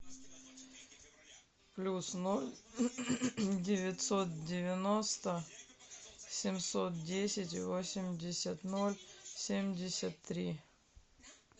плюс ноль девятьсот девяносто семьсот десять восемьдесят ноль семьдесят три